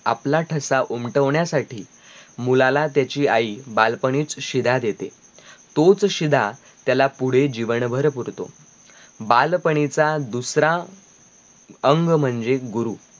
आपला ठसा उमटवण्या साठी मुळाला त्याची आई बालपणीच शिदा देते तोच शिदा त्याला पुढे जीवनभर पुरतो बालपणीचा दुसरा अंग म्हणजे गुरु